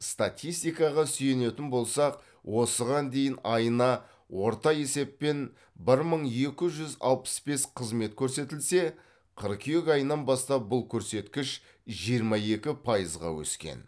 статистикаға сүйенетін болсақ осыған дейін айына орта есеппен бір мың екі жүз алпыс бес қызмет көрсетілсе қыркүйек айынан бастап бұл көрсеткіш жиырма екі пайызға өскен